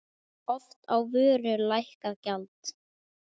Oft á vöru lækkað gjald.